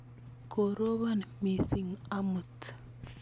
Koropon missing' amut.